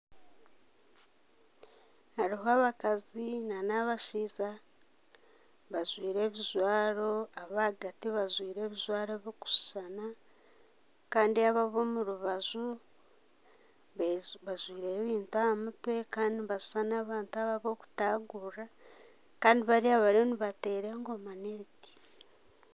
Hariho abakazi n'abashaija bajwire ebijwaro abahagati bajwire ebijwaro birikushushana Kandi abo ab'omu rubaju bajwire ebintu aha mutwe Kandi nibashushana abantu ab'okutagurira Kandi bariya bariyo nibateera engoma n'ebiti.